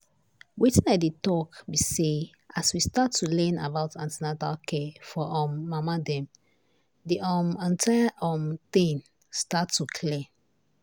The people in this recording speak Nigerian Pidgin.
wetin i dey talk be say as we start to learn about an ten atal care for um mama dem the um entire um thing start to clear.